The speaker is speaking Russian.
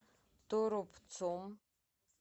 торопцом